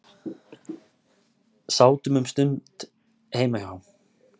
Sátum um stund heima hjá